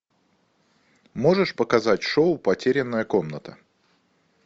можешь показать шоу потерянная комната